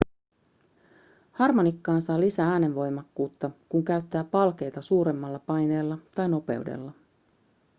harmonikkaan saa lisää äänenvoimakkuutta kun käyttää palkeita suuremmalla paineella tai nopeudella